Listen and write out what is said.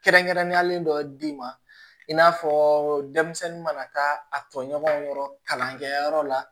Kɛrɛnkɛrɛnnenyalen dɔ d'i ma i n'a fɔ denmisɛnnin mana taa a tɔɲɔgɔnw kɔrɔ kalankɛyɔrɔ la